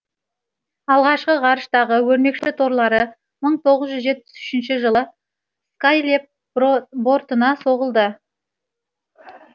алғашқы ғарыштағы өрмекші торлары мың тоғыз жүз жетпіс үшінші жылы скайлэб бортына соғылды